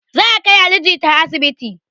Za a kai ali jita asibiti